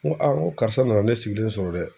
N ko n ko karisa nana ne sigilen sɔrɔ dɛ